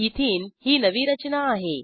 ethene ही नवी रचना आहे